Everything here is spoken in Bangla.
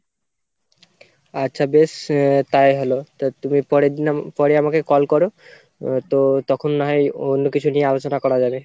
আচ্ছা বেশ আহ তাই হলো তো তুমি পরের দিন পরে আমাকে call করো আহ তো তখন না হয় অন্য কিছু নিয়ে আলোচনা করা যাবে।